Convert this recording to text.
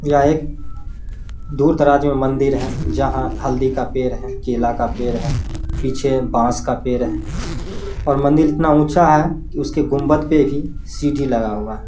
यहाँ एक दूर दराज मै मंदिर है जहां हल्दी का पेर है केला का पेर है पीछे बास का पेर है और मंदिर इतना ऊँचा है की उसके घुंमट पे भी सीढ़ी लगा हुआ है।